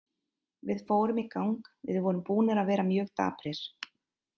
Við fórum í gang, við vorum búnir að vera mjög daprir.